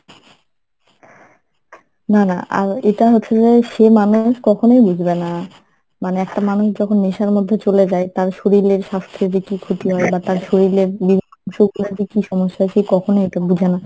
না না আর এটা হচ্ছে যে সে মানুষ কখনোই বুজবে না মানে একটা মানুষ যখন নেশার মধ্যে চলে যায় তার শরীরের স্বাস্থ্যের যে কি ক্ষতি হয় বা তার শরীরের বিভিন্ন অংশগুলার যে কি সমস্যা হয় সে কখনোই এটা বুজে না।